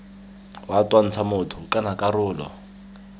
wa twantsha motho kana karolo